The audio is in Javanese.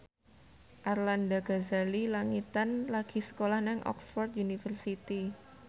Arlanda Ghazali Langitan lagi sekolah nang Oxford university